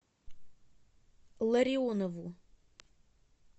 ларионову